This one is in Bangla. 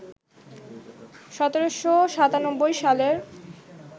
১৭৯৭ সালের